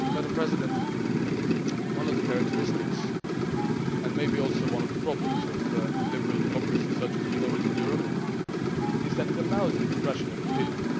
Madam President, one of the characteristics and maybe also one of the problems of liberal democracy, such as we know it in Europe, is that it allows the expression of opinion.